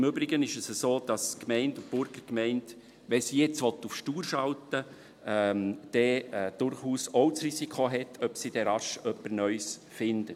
Im Übrigen ist es so, dass die Gemeinde und die Burgergemeinde, wenn sie jetzt auf stur schalten wollen, dann durchaus auch das Risiko haben, ob sie rasch jemand Neues findet.